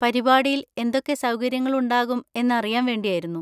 പരിപാടിയിൽ എന്തൊക്കെ സൗകര്യങ്ങളുണ്ടാകും എന്നറിയാൻ വേണ്ടിയായിരുന്നു.